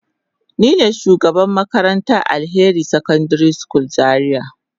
Nine shugabar makarantar Alheri secondary school zaria.